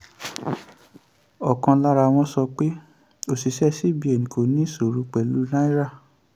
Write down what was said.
ọ̀kan lara wọn sọ pé òṣìṣẹ́ cbn kò ní ìṣòro pẹ̀lú náírà.